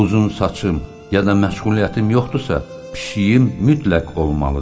Uzun saçım ya da məşğuliyyətim yoxdursa, pişiyim mütləq olmalıdır.